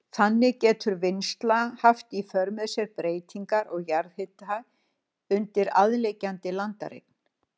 Þannig getur vinnsla haft í för með sér breytingar á jarðhita undir aðliggjandi landareign.